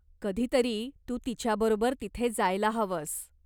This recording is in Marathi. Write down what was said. कधीतरी तू तिच्याबरोबर तिथे जायला हवस.